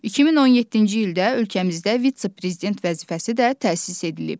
2017-ci ildə ölkəmizdə vitse-prezident vəzifəsi də təsis edilib.